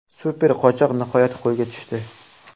Super qochoq nihoyat qo‘lga tushdi.